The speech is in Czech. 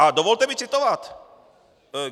A dovolte mi citovat.